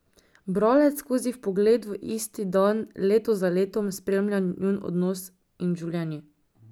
Bralec skozi vpogled v isti dan leto za letom spremlja njun odnos in življenji.